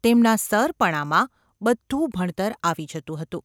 તેમના ‘સર’ પણામાં બધું ભણતર આવી જતું હતું.